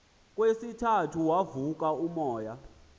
kwesithathu wavuka umoya